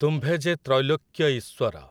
ତୁମ୍ଭେ ଯେ ତ୍ରୈଲୋକ୍ୟ ଈଶ୍ୱର ।